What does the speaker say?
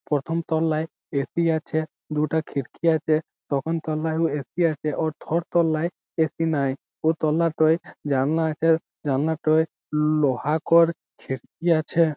প্রথম তলায় A. C আছে দুটো খিড়কি আছে প্রথম তলায়ও এ. সি আছে ও থর্ড তলায় এ. সি নাই ও তলা টয় জানলা আছে জানলা টয় লো-ও-হা কর খেড়কি আছে--